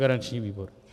Garanční výbor.